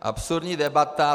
Absurdní debata.